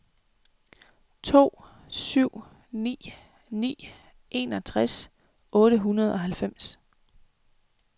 to syv ni ni enogtres otte hundrede og halvfems